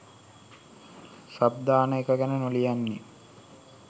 sub දාන එක ගැන නොලියන්නෙ